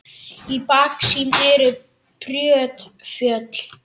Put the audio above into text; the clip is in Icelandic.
Í baksýn eru brött fjöll.